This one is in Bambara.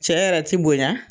Cɛ yɛrɛ ti bonya